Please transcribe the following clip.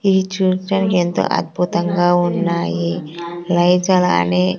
ఇది చూడ్డానికి ఎంతో ఆర్భుతంగా ఉన్నాయి లైచలాని.